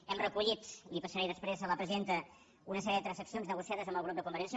hem recollit les passaré després a la presidenta una sèrie de transaccions negociades amb el grup de convergència